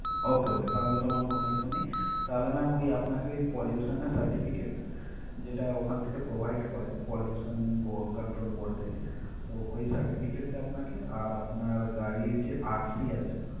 Okay okay তাহলে তো ma'am কোনো issue নেই তাহলে ma'am আপনাকে ওই pollution এর certificate যেটা ওখান থেকে provide করে pollution boa~ control board থেকে তো ওই certificate টা আপনাকে আর আপনার গাড়ির যে RC আছে